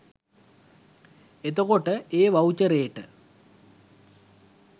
එතකොට ඒ වවුචරේට